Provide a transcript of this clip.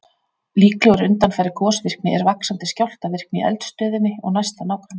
Líklegur undanfari gosvirkni er vaxandi skjálftavirkni í eldstöðinni og næsta nágrenni.